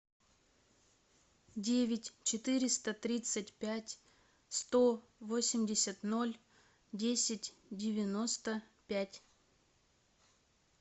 девять четыреста тридцать пять сто восемьдесят ноль десять девяносто пять